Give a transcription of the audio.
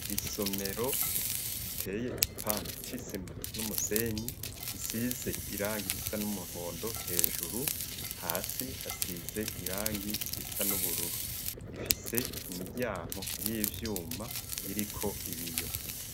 Isomero riteye igipande c'isima n'umusenyi, isize irangi risa n'umuhondo hejuru, hasi hasize irangi risa n'ubururu. Ifise imiryango y'ivyuma iriko ibiyo.